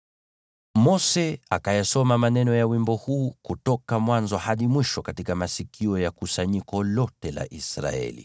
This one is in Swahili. Mose akayasoma maneno ya wimbo huu kutoka mwanzo hadi mwisho katika masikio ya kusanyiko lote la Israeli: